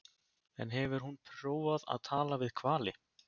En hefur hún prófað að tala við hvali?